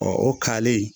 o kale